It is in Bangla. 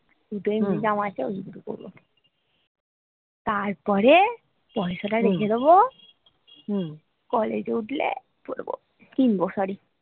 দুটো এমনি জামা আছে ওই দুটো পড়বো তারপরে পয়সা টা রেখে দেব college উঠলে পড়বো কিনবো sorry